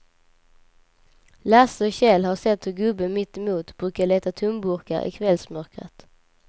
Lasse och Kjell har sett hur gubben mittemot brukar leta tomburkar i kvällsmörkret.